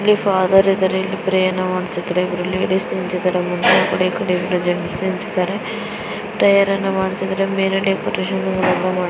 ಇಲ್ಲಿ ಫಾದರ್ ಇದಾರೆ ಪ್ರೇಯರ್ ಮಾಡುತಿದ್ದಾರೆ ಲೇಡೀಸ್ ನಿಂತಿದ್ದಾರೆ ಎರಡು ಜೆಂಟ್ಸ್ ನಿಂತಿದ್ದಾರೆ ಪ್ರೇಯರ್ ಮಾಡುತಿದ್ದಾರೆ.